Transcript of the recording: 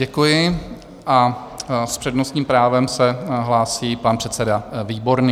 Děkuji a s přednostním právem se hlásí pan předseda Výborný.